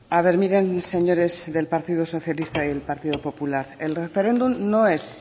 a ver miren señores del partido socialista y el partido popular el referéndum no es